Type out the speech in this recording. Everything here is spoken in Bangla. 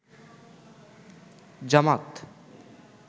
জামাত